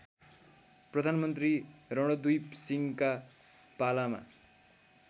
प्रधानमन्त्री रणोद्दिपसिंहका पालामा